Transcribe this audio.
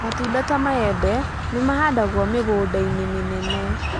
Matunda ta maembe nĩ mahandagwo mĩgũnda-inĩ mĩnene.